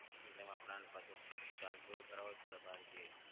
એટલે એમાં પ્લાન પાછો જે ચાલતો હોય એ કરાવવો જ પડે બહાર જઈએ એટલે.